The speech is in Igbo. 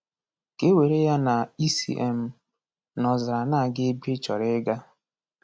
Ka e were ya na i si um n’ọzara na-aga ebe ị chọrọ ịga.